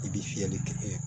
I bɛ fiyɛli kɛ